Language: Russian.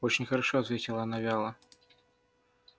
очень хорошо ответила она вяло